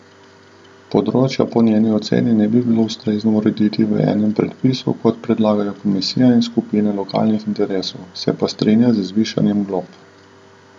Področja po njeni oceni ne bi bilo ustrezno urediti v enem predpisu, kot predlagajo komisija in skupine lokalnih interesov, se pa strinja z zvišanjem glob.